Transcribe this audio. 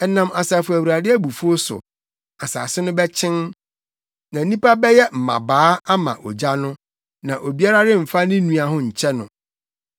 Ɛnam Asafo Awurade abufuw so, asase no bɛkyen na nnipa bɛyɛ mmabaa ama ogya no; na obiara remfa ne nua ho nkyɛ no.